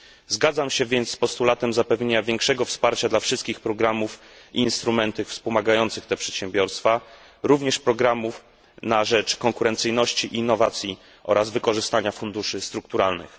Zgadzam się więc z postulatem zapewnienia większego wsparcia dla wszystkich programów i instrumentów wspomagających te przedsiębiorstwa, również programów na rzecz konkurencyjności, innowacji oraz wykorzystania funduszy strukturalnych.